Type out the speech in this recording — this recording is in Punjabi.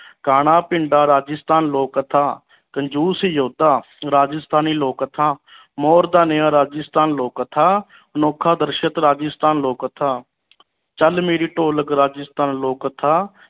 ਕਾਣਾ ਪਿੰਡਾਂ ਰਾਜਸਥਾਨ ਲੋਕ ਕਥਾ ਕੰਜੂਸ ਜੋਧਾ ਰਾਜਸਥਾਨੀ ਲੋਕ ਕਥਾ ਮੋਰ ਦਾ ਨਿਆਂ ਰਾਜਸਥਾਨੀ ਲੋਕ ਕਥਾ ਅਨੋਖਾ ਦਰਸਤ ਰਾਜਸਥਾਨ ਲੋਕ ਕਥਾ ਚਲ ਮੇਰੀ ਢੋਲਕ ਰਾਜਸਥਾਨ ਲੋਕ ਕਥਾ